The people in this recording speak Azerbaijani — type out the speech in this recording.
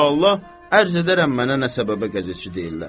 İnşallah, ərz edərəm mənə nə səbəbə qəzetçi deyirlər.